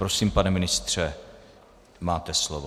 Prosím, pane ministře, máte slovo.